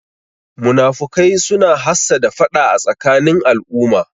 Munafukai suna hassada faɗa a tsakanin al'umma